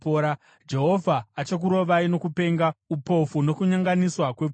Jehovha achakurovai nokupenga, upofu nokunyonganiswa kwepfungwa.